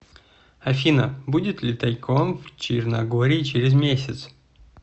афина будет ли тайком в черногории через месяц